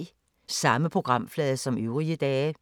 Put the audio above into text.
Samme programflade som øvrige dage